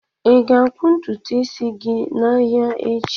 Ị ga-akpụ ntutu isi gị n'ahịa echi?